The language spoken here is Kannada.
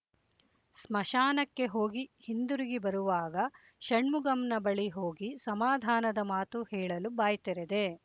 ಸ್ಮಶಾನಕ್ಕೆ ಹೋಗಿ ಹಿಂದುರುಗಿ ಬರುವಾಗ ಷಣ್ಮುಗಂನ ಬಳಿ ಹೋಗಿ ಸಮಾಧಾನದ ಮಾತು ಹೇಳಲು ಬಾಯ್ತೆರೆದೆ